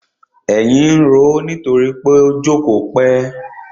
Èyìn ń roó nítorí pó jókòó pẹ́.